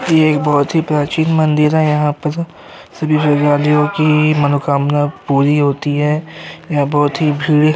यह एक बोहोत ही प्राचीन मंदिर है यहाँ पर सभी की मनोकामना पूरी होती है। यह बोहोत ही भीड़ --